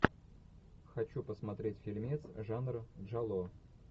хочу посмотреть фильмец жанра джалло